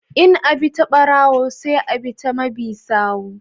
In abi ta barawo sai a bi ta mabi sawu.